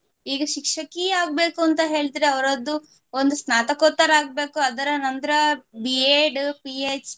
ಈಗ ಶಿಕ್ಷಕಿ ಆಗ್ಬೇಕು ಅಂತ ಹೇಳಿದ್ರೆ ಅವರದ್ದು ಒಂದು ಸ್ನಾತಕೋತ್ತರ ಆಗ್ಬೇಕು ಅದರ ನಂತರ B.Ed, PhD